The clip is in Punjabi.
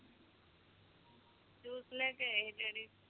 ਜੂਸ ਲੈ ਕੇ ਆਏ ਹੀ daddy